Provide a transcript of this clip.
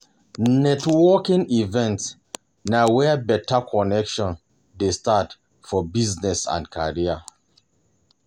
Networking events na where better connections dey start for business and career